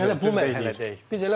Biz hələ bu mərhələdəyik.